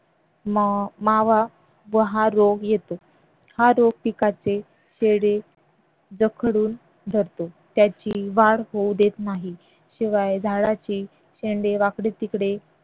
मावा व हा रोग येतो हा रोग पिकाचे चेहरे जखडून धरतो त्याची वाढ होऊ देत नाही. शिवाय झाडाचे शेंडे वाकडे तिकडे